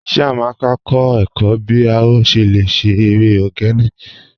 Chíamaka n kọ ẹ̀kọ̀ bí o ṣé lẹ̀ ṣé èrè ogene